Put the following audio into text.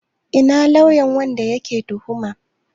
Ina lauyan wanda ake tuhuma?